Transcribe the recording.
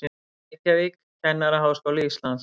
Reykjavík, Kennaraháskóli Íslands.